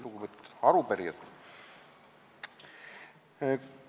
Lugupeetud arupärijad!